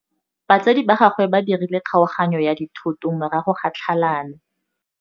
Batsadi ba gagwe ba dirile kgaoganyô ya dithoto morago ga tlhalanô.